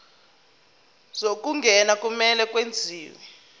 zokungena kumele kwenziwe